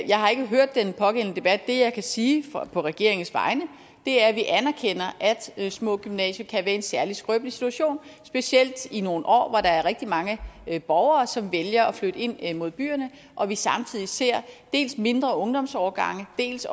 jeg har ikke hørt den pågældende debat det jeg kan sige på regeringens vegne er at vi anerkender at små gymnasier kan være i en særlig skrøbelig situation specielt i nogle år hvor der er rigtig mange borgere som vælger at flytte ind mod byerne og vi samtidig ser dels mindre ungdomsårgange dels